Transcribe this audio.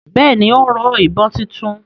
Bẹ́ẹ̀ni, ó ń rọ ìbọn títún